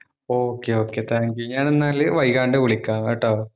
okay okay thank you ഞാൻ എന്നാല് വൈകാതെ വിളിക്കാം കേട്ടോ